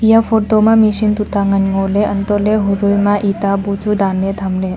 eya photo ma machine tu ta ngan ngo le anto le ho dui ma itta bu chu dan le tham le.